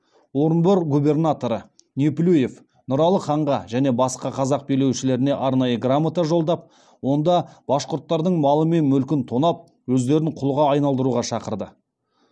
орынбор губернаторы неплюев нұралы ханға және басқа қазақ билеушілеріне арнайы грамота жолдап онда башқұрттардың малы мен мүлкін тонап өздерін құлға айналдыруға шақырды